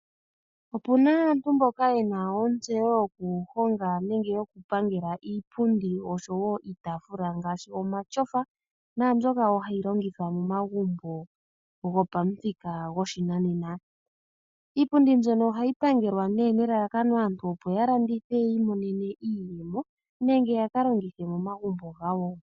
Opuna aantu mboka yena ontseyo yokuhonga nenge yokupangela iipundi oshowo iitafula ngaashi omashofa, naambyoka wo hai longithwa momagumbo gopamuthika goshinanena. Iipundi mbyono ohayi pangelwa nee nelalakano aantu opo ya landithe ya imonene iiyemo, nenge ya ka longithe momagumbo gawo.